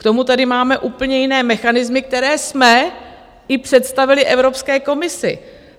K tomu tady máme úplně jiné mechanismy, které jsme i představili Evropské komisi.